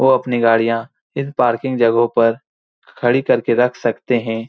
वो अपनी गाड़ियां इस पार्किंग जगहों पर खड़ी करके रख सकते है।